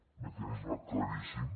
un mecanisme claríssim